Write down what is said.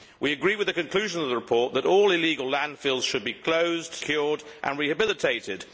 We agree with the conclusions of the report that all illegal landfills should be closed, secured and rehabilitated.